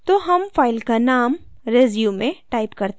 तो हम file का name resume टाइप करते हैं